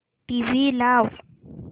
TV लाव